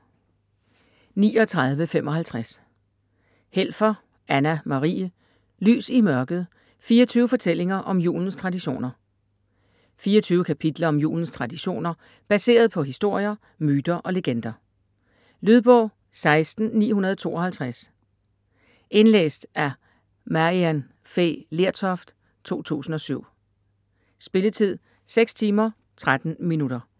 39.55 Helfer, Anna-Marie: Lys i mørket: 24 fortællinger om julens traditioner 24 kapitler om julens traditioner, baseret på historier, myter og legender. Lydbog 16952 Indlæst af Maryann Fay Lertoft, 2007. Spilletid: 6 timer, 13 minutter.